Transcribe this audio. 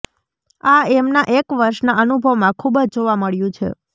આ એમના એક વર્ષના અનુભવમાં ખૂબ જ જોવા મળ્યું છે